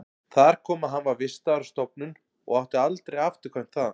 Þar kom að hann var vistaður á stofnun og átti aldrei afturkvæmt þaðan.